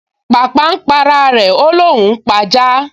Pàpà n p’ara rẹ̀, ó l’óun ó p’ajá